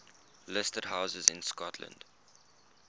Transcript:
listed houses in scotland